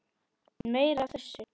Meira af þessu!